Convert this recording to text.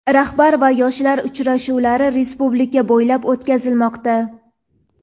"Rahbar va yoshlar" uchrashuvlari respublika bo‘ylab o‘tkazilmoqda.